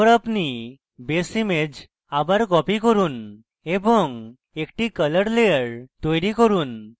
তারপর আপনি base image আবার copy করুন এবং একটি colour layer তৈরী করুন